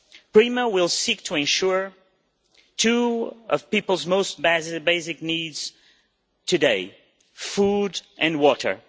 PRIMA will seek to ensure two of people's most basic needs today food and water.